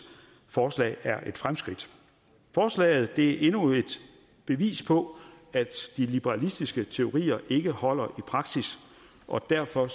forslag er et fremskridt forslaget er endnu et bevis på at de liberalistiske teorier ikke holder i praksis og derfor